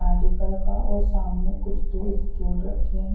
Medical का और सामने कुछ दो टूल्स जोड़ रखे हैं।